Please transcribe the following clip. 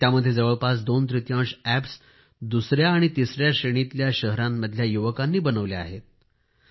त्यामध्ये जवळपास दोन तृतीयांश अॅप्स दुसया आणि तिसया श्रेणीतल्या शहरांमधल्या युवकांनी बनवले आहेत